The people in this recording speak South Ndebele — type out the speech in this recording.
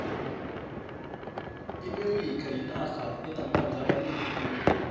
iamerika yinarha enamanzi amanengi khulu